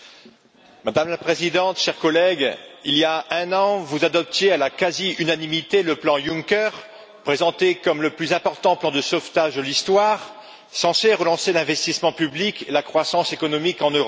Madame la Présidente, chers collègues, il y a un an, vous adoptiez à la quasi unanimité le plan Juncker, présenté comme le plus important plan de sauvetage de l'histoire, censé relancer l'investissement public et la croissance économique en Europe.